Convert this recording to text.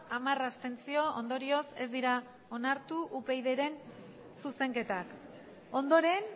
hamar abstentzio ondorioz ez dira onartu upydren zuzenketak ondoren